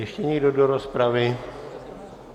Ještě někdo do rozpravy?